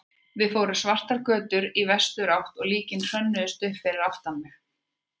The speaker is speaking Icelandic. Við fórum svartar götur í vesturátt og líkin hrönnuðust upp fyrir aftan mig.